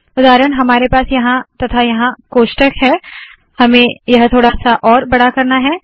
उदाहरण हमारे पास यहाँ तथा यहाँ कोष्ठक है हमें यह थोडा सा और बड़ा करना है